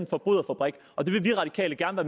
forbryderfabrik og det vil vi radikale gerne